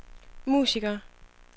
musikere